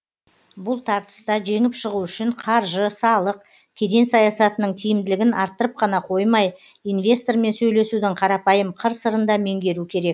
бұл тартыста жеңіп шығу үшін қаржы салық кеден саясатының тиімділігін арттырып қана қоймай инвестормен сөйлесудің қарапайым қыр сырын да меңгеру керек